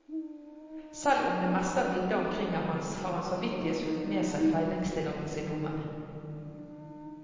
Selv om det meste av vidda omkring er hans, har han samvittighetsfullt med seg fellingstillatelse i lommen.